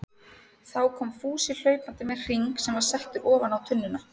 Þá kom Fúsi hlaupandi með hring sem var settur ofan á tunnuna.